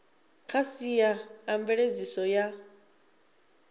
kha sia a mveledziso ya